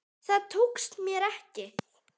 Það tókst mér ekki.